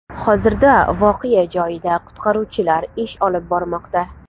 Hozirda voqea joyida qutqaruvchilar ish olib bormoqda.